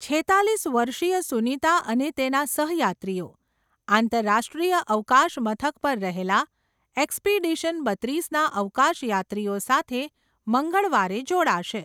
છેતાલીસ વર્ષીય સુનીતા અને તેના સહયાત્રીઓ, આંતરરાષ્ટ્રીય અવકાશ મથક પર રહેલા, એક્સપિડિશન બત્રીસ ના અવકાશયાત્રીઓ સાથે મંગળવારે જોડાશે.